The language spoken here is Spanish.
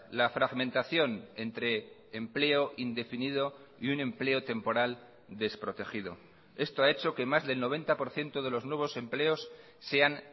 la fragmentación entre empleo indefinido y un empleo temporal desprotegido esto ha hecho que más del noventa por ciento de los nuevos empleos sean